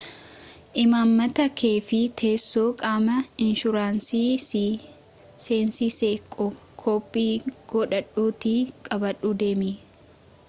imaammata kee fi teessoo qaama inshuraansii si seensisee koppii godhadhuutii qabadhuu deemi